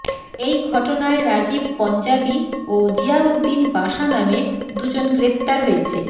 এই ঘটনায় রাজীব পঞ্জাবি ও জিয়াউদ্দিন বাশা নামে দুজন গ্রেফতার হয়েছে